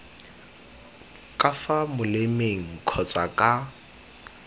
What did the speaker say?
ka fa molemeng kgotsa ka